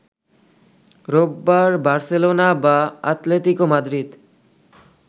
রোববার বার্সেলোনা বা Atletico Madrid